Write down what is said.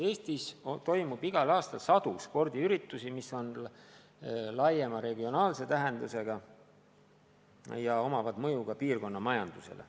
Eestis toimub igal aastal sadu spordiüritusi, mis on laiema regionaalse tähendusega ja avaldavad mõju ka piirkonna majandusele.